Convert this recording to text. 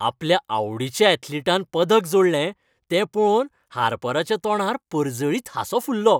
आपल्या आवडीच्या ऍथलिटान पदक जोडलें तें पळोवन हार्पराच्या तोंडार परजळीत हांसो फुल्लो